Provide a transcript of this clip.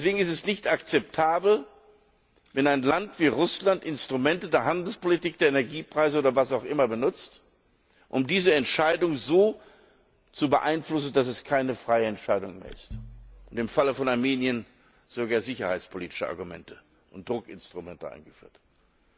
Deswegen ist es nicht akzeptabel, wenn ein Land wie Russland Instrumente der Handelspolitik, der Energiepreise oder was auch immer benutzt, um diese Entscheidung so zu beeinflussen, dass es keine freie Entscheidung mehr ist, oder wenn im Fall von Armenien sogar sicherheitspolitische Argumente und Druckinstrumente eingeführt werden.